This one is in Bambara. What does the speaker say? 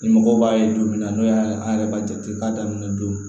Ni mɔgɔw b'a ye don min na n'o y'a an yɛrɛ b'a jate k'a daminɛ don